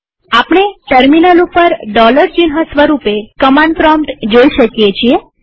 આપણે ટર્મિનલ ઉપર ચિહ્ન સ્વરૂપે કમાંડ પ્રોમ્પ્ટ જોઈ શકીએ છીએ